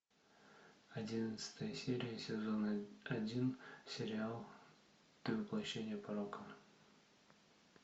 одиннадцатая серия сезона один сериал ты воплощение порока